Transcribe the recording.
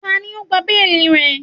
Tani o gba beeli rẹ?